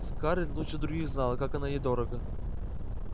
скарлетт лучше других знала как оно ей дорого